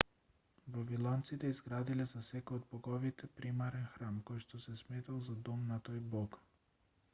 вавилонците изградиле за секој од боговите примарен храм којшто се сметал за дом на тој бог